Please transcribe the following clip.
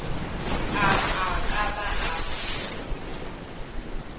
a a ka ba a